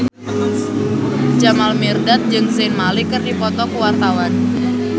Jamal Mirdad jeung Zayn Malik keur dipoto ku wartawan